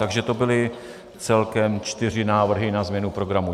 Takže to byly celkem čtyři návrhy na změnu programu.